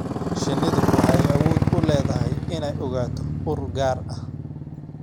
Shinnidu waxay awood u leedahay inay ogaato ur gaar ah.